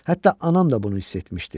Hətta anam da bunu hiss etmişdi.